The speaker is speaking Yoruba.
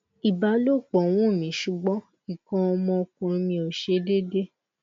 Ìbálòpọ̀ wun mi ṣugbọn nkán ọmọkùnrin mi o ṣe déédé